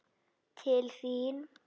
Til þín?